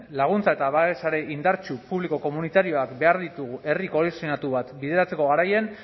laguntza eta babesa ere indartsu publiko komunitarioak behar ditugu herri kohesionatu bat bideratzeko garaian